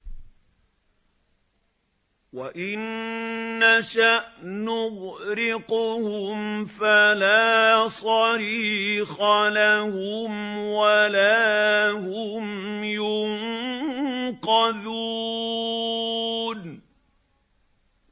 وَإِن نَّشَأْ نُغْرِقْهُمْ فَلَا صَرِيخَ لَهُمْ وَلَا هُمْ يُنقَذُونَ